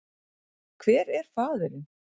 Hver er faðirinn?